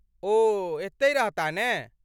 ओ एतहि रहताह ने?